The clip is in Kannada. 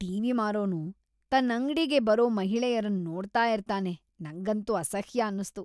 ಟಿವಿ ಮಾರೋನು ತನ್ ಅಂಗ್ಡಿಗೆ ಬರೋ ಮಹಿಳೆಯರನ್ ನೋಡ್ತಾ ಇರ್ತಾನೆ ನಂಗಂತೂ ಅಸಹ್ಯ ಅನ್ನುಸ್ತು.